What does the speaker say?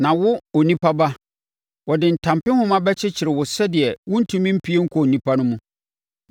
Na wo, onipa ba, wɔde ntampehoma bɛkyekyere wo sɛdeɛ worentumi mpue nkɔ nnipa no mu.